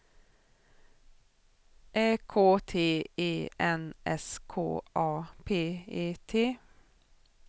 Ä K T E N S K A P E T